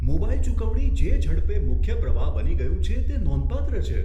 Mobile ચુકવણી જે ઝડપે મુખ્ય પ્રવાહ બની ગયું છે તે નોંધપાત્ર છે.